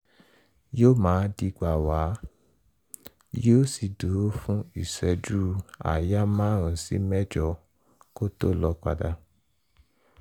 yóò máa dígbà wá yóò sì dúró fún ìṣẹ́jú-àáyá márùn-ún sí mẹ́jọ kó tó lọ padà